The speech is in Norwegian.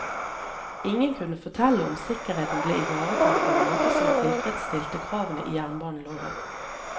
Ingen kunne fortelle om sikkerheten ble ivaretatt på en måte som tilfredsstilte kravene i jernbaneloven.